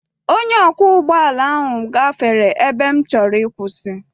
Onye ọkwọ ụgbọala ahụ gbafere ebe m chọrọ ịkwụsị.